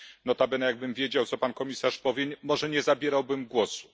Notabene jakbym wiedział, co pan komisarz powie, może nie zabierałbym głosu.